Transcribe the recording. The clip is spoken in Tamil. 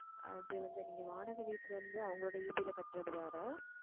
அது வந்து நீங்க வாடகை வீட்டிலே இருந்து அவங்களோட EB ல கட்டுறது வேற